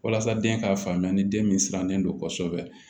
Walasa den ka faamuya ni den min sirannen don kɔsɛbɛ